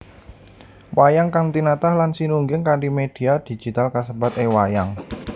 Wayang kang tinatah lan sinungging kanthi média digital kasebat e wayang